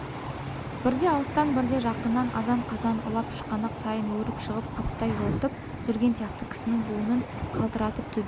бірде алыстан бірде жақыннан азан-қазан ұлып шұқанақ сайын өріп шығып қаптай жортып жүрген сияқты кісінің буынын қалтыратып төбе